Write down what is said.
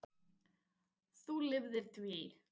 Þú lifðir því.